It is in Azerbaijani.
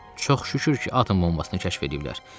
Çox şükür ki, atom bombasını kəşf eləyiblər.